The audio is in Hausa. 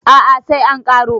a a sai an karo